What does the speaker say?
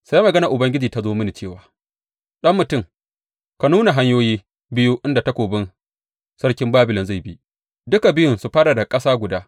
Sai maganar Ubangiji ta zo mini cewa, Ɗan mutum, ka nuna hanyoyi biyu inda takobin sarkin Babilon zai bi, duka biyun su fara daga ƙasa guda.